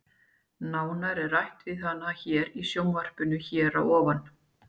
Nánar er rætt við hana hér í sjónvarpinu hér að ofan.